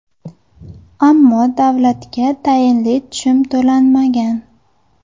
Ammo davlatga tayinli tushum to‘lanmagan.